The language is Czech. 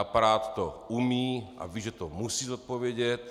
Aparát to umí a ví, že to musí zodpovědět.